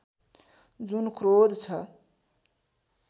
जुन क्रोध छ